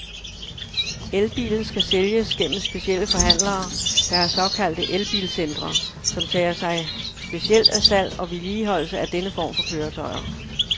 El-bilen skal sælges gennem specielle forhandlere, der har såkaldte el-bil-centre, som tager sig specielt af salg og vedligeholdelse af denne form for køretøjer.